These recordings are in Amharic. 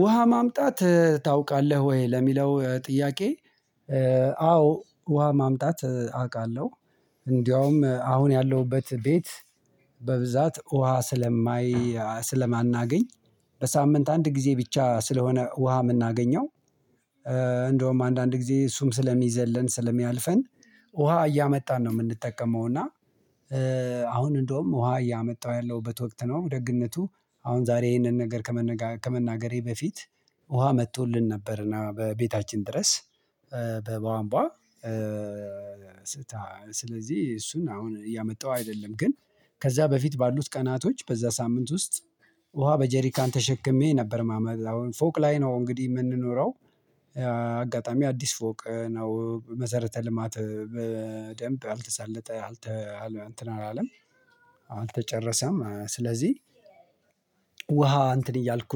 ውሃ ማምጣት ታውቃለህ ወይ ለሚለው ጥያቄ አዎ ውሃ ማምጣት አውቃለሁ። እንደውም አሁን ያለሁበት ቤት በብዛት ውሃ ስለማይ ስለማናገኝ በሳምንት አንድ ጊዜ ብቻ ስለሆነ ውሃ የምናገኘው እንደውም አንዳንድ ጊዜ እሱም ስለሚዘለን ስለሚያልፈን ውሃ እያመጣን ነው የምንጠቀመው እና አሁን እንደውም ውሃ እያመጣሁ ያለሁበት ወቅት ነው። ደግነቱ አሁን ዛሬ ይሄንን ነገር ከመናገሬ በፊት ውሃ መጥቶልን ነበር እና በቤታችን ድረስ በቧንቧ ስለዚህ እሱን አሁን እያመጣሁ አይደለም ግን ከዛ በፊት ባሉት ቀናቶች በዛ ሳምንት ውስጥ ውሃ በጀሪካን ተሸክሜ ነበር ማመጣው። አሁን ፎቅ ላይ ነው እንግዲህ የምንኖረው አጋጣሚ አዲስ ፎቅ ነው። መሰረተ ልማት በደንብ አልተሳለጠ አልተ እንትን አላለም አልተጨረሰም። ስለዚህ ውሃ እንትን እያልኩ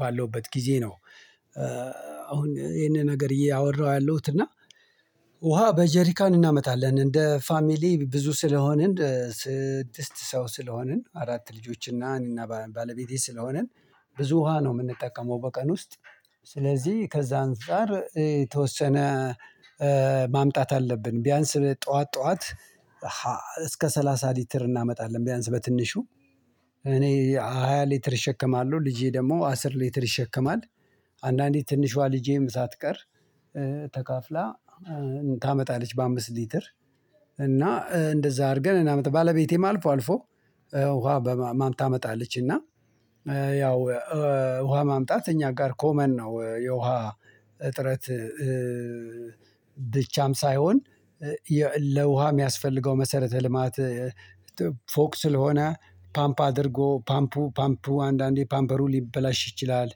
ባለሁበት ጊዜ ነው አሁን ይሄንን ነገር እያወራሁ ያለሁት እና ውሃ በጀሪካን እናመጣለን። እንደ ፋሚሊ ብዙ ስለሆንን ስድስት ሰው ስለሆንን አራት ልጆችን እና እኔና ባለቤቴ ስለሆንን ብዙ ውሃ ነው የምንጠቀመው በቀን ውስጥ። ስለዚህ ከዛ አንፃር የተወሰነ ማምጣት አለብን። ቢያንስ ጠዋት ጠዋት እስከ ሰላሳ ሊትር እናመጣለን ቢያንስ በትንሹ። እኔ ሃያ ሊትር እሸከማለሁ። ልጄ ደግሞ አሥር ሊትር ይሸከማል። አንዳንዴ ትንሿ ልጄም ሳትቀር ተካፍላ ታመጣለች በአምስት ሊትር። እና እንደዛ አድርገን እናመጣ። እና ባለቤቴም አልፎ አልፎ ውሃ በማም ታመጣለች እና ያው ውሃ ማምጣት እኛ ጋር ኮመን ነው። የውሃ እጥረት ብቻም ሳይሆን ለውሃ የሚያስፈልገው መሰረተ ልማት ፎቅ ስለሆነ ፓምፕ አድርጎ ፓምፑ ፓምፑ አንዳንዴ ፓምበሩ ሊበላሽ ይችላል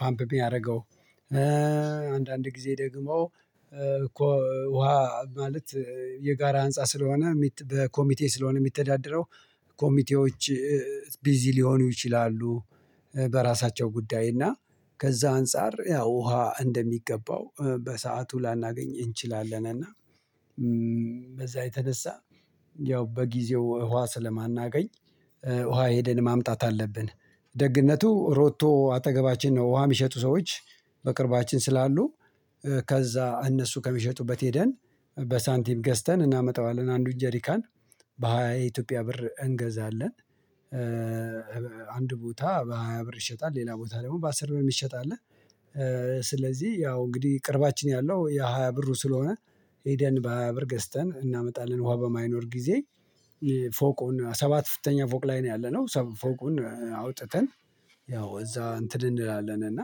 ፓምፕ የሚያደርገው አንዳንድ ጊዜ ደግሞ እኮ ውሃ ማለት የጋራ ህንፃ ስለሆነ በኮሚቴ ስለሆነ የሚተዳደረው ኮሚቴዎች ቢዚ ሊሆኑ ይችላሉ። በራሳቸው ጉዳይ እና ከዛ አንፃር ያው ውሃ እንደሚገባው በሰአቱ ላናገኝ እንችላለን። እና በዛ የተነሳ ያው በጊዜው ውሃ ስለማናገኝ ውሃ ሄደን ማምጣት አለብን። ደግነቱ ሮቶ አጠገባችን ነው። ውሃ የሚሸጡ ሰዎች በቅርባችን ስላሉ ከዛ እነሱ ከሚሸጡበት ሄደን በሳንቲም ገዝተን እናመጣዋለን። አንዱን ጀሪካን በሃያ የኢትዮጵያ ብር እንገዛለን። አንድ ቦታ በሃያ ብር ይሸጣል። ሌላ ቦታ ደግሞ በአስር ብር የሚሸጥ አለ። ስለዚህ ያው እንግዲህ ቅርባችን ያለው የሃያ ብሩ ስለሆነ ሄደን በሃያ ብር ገዝተን እናመጣለን ውሃ በማይኖር ጊዜ። ፎቁን ሰባት ፍተኛ ፎቅ ላይ ነው ያለነው ፎቁን አውጥተን ያው እዛ እንትን እንላለን እና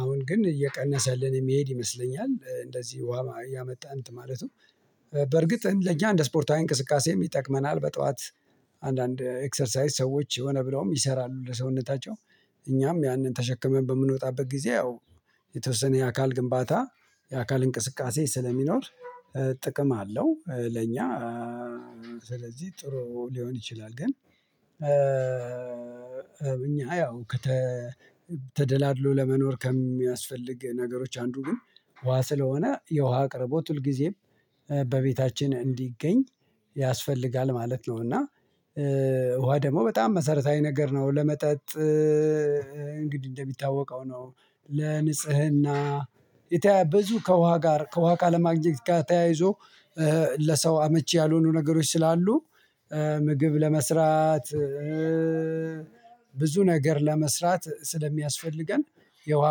አሁን ግን እየቀነሰልን የሚሄድ ይመስለኛል እንደዚህ ውሃ እያመጣን እንትን ማለቱ በርግጥ ለእኛ እንደ ስፖርታዊ እንቅስቃሴም ይጠቅመናል በጧት አንዳንድ ኤክሰርሳይስ ሰዎች ሆነ ብለውም ይሰራሉ ለሰውነታቸው። እኛም ያንን ተሸክመን በምንወጣበት ጊዜ ያው የተወሰነ የአካል ግንባታ የአካል እንቅስቃሴ ስለሚኖር ጥቅም አለው። ለኛ ስለዚህ ጥሩ ሊሆን ይችላል። ግን እኛ ያው ከተደላድሎ ለመኖር ከሚያስፈልግ ነገሮች አንዱ ግን ውሃ ስለሆነ የውሃ አቅርቦት ሁልጊዜም በቤታችን እንዲገኝ ያስፈልጋል ማለት ነው። እና ውሃ ደግሞ በጣም መሰረታዊ ነገር ነው ለመጠጥ እንግዲህ እንደሚታወቀው ነው ለንጽህና የተያያ ብዙ ከውሃ ጋር ከውሃ ካለማግኘት ጋር ተያይዞ ለሰው አመቺ ያልሆኑ ነገሮች ስላሉ ምግብ ለመስራት ብዙ ነገር ለመስራት ስለሚያስፈልገን የውሃ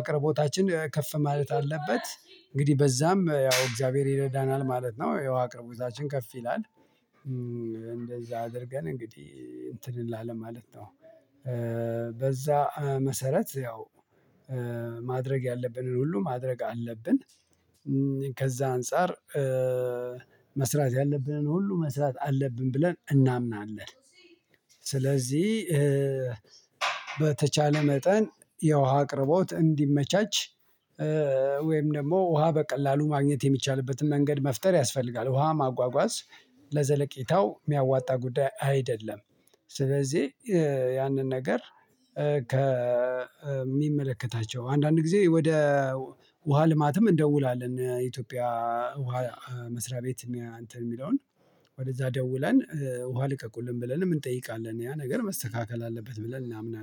አቅርቦታችን ከፍ ማለት አለበት። እንግዲህ በዛም ያው እግዚአብሔር ይረዳናል ማለት ነው። የውሃ አቅርቦታችን ከፍ ይላል። እንደዛ አድርገን እንግዲህ እንትን እንላለን ማለት ነው በዛ መሰረት ያው ማድረግ ያለብንን ሁሉ ማድረግ አለብን። ከዛ አንፃር መስራት ያለብንን ሁሉ መስራት አለብን ብለን እናምናለን። ስለዚህ በተቻለ መጠን የውሃ አቅርቦት እንዲመቻች ወይም ደግሞ ውሃ በቀላሉ ማግኘት የሚቻልበትን መንገድ መፍጠር ያስፈልጋል። ውሃ ማጓጓዝ ለዘለቄታው የሚያዋጣ ጉዳይ አይደለም። ስለዚህ ያንን ነገር ከሚመለከታቸው አንዳንድ ጊዜ ወደ ውሃ ልማትም እንደውላለን። የኢትዮጵያ ውሃ መስሪያ ቤት። እኔ አንተን የሚለውን ወደዛ ደውለን ውሃ ልቀቁልን ብለንም እንጠይቃለን ያ ነገር መስተካከል አለበት ብለን እናምናለን።